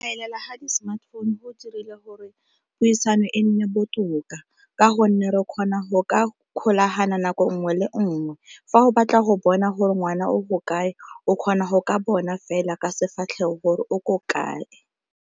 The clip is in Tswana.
Elela ga di-smartphone go dirile gore puisano e nne botoka ka gonne re kgona go ka kgolagana nako nngwe le nngwe. Fa o batla go bona gore ngwana o ko kae, o kgona go ka bona fela ka sefatlhego gore o ko kae.